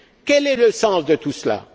Quel est le sens de tout cela?